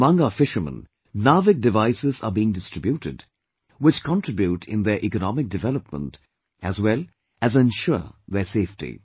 Among our fishermen, NAVIC devices are being distributed, which contribute in their economic development as well as ensure their safety